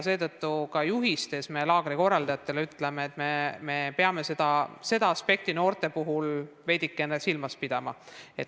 Seetõttu on laagrikorraldajate juhistes kirjas, et me peame seda aspekti noorte puhul silmas pidama.